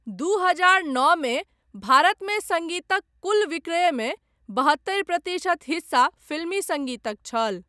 दू हजार नओमे भारतमे सङ्गीतक कुल विक्रयमे बहत्तरि प्रतिशत हिस्सा फ़िल्मी सङ्गीतक छल।